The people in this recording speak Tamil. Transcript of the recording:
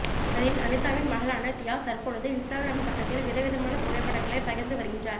அதில் அனிதாவின் மகளான தியா தற்பொழுது இன்ஸ்டாகிராம் பக்கத்தில் விதவிதமான புகைப்படங்களை பகிர்ந்து வருகின்றார்